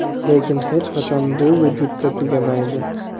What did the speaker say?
lekin hech qachon bu vujudda tugamaydi.